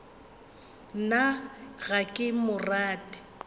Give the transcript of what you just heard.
nna ga ke mo rate